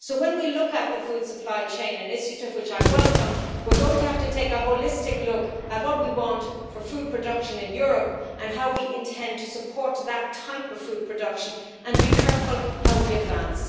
So when we look at the food supply chain initiative, which I welcome, we are going to have to take a holistic look at what we want for food production in Europe and how we intend to support that type of food production and be careful how we advance.